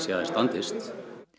að þær standist